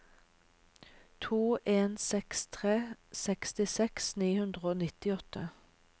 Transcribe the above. to en seks tre sekstiseks ni hundre og nittiåtte